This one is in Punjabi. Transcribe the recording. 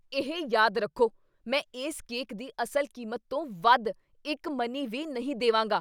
ਇਹ ਯਾਦ ਰੱਖੋ! ਮੈਂ ਇਸ ਕੇਕ ਦੀ ਅਸਲ ਕੀਮਤ ਤੋਂ ਵੱਧ ਇੱਕ ਮਨੀ ਵੀ ਨਹੀਂ ਦੇਵਾਂਗਾ!